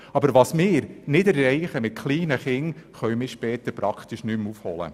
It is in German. Aber was wir bei den kleinen Kindern nicht erreichen, können wir später fast nicht mehr aufholen.